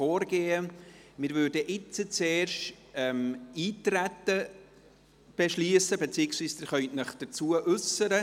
Wir würden jetzt zuerst das Eintreten beschliessen, beziehungsweise Sie können sich dazu äussern.